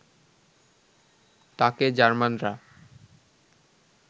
তাঁকে জার্মানরা